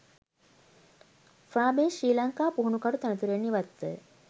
Farbrace Sri Lanka පුහුණුකරු තනතුරෙන් ඉවත්ව